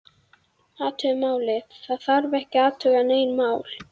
Athuga málið, það þarf ekki að athuga nein mál